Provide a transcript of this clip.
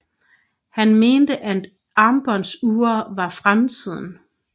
Han mente at armbåndsure var fremtiden